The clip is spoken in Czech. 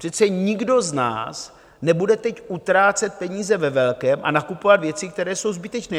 Přece nikdo z nás nebude teď utrácet peníze ve velkém a nakupovat věci, které jsou zbytečné.